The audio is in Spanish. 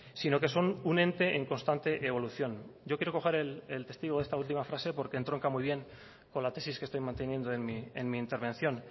sino que son un ente en constante evolución yo quiero coger el testigo de esta última frase porque entronca muy bien con la tesis que estoy manteniendo en mi intervención